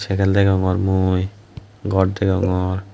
sygel degongor mui gor degongor.